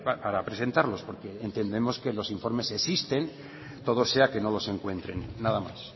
para presentarlos porque entendemos que los informes existen todo sea que no los encuentren nada más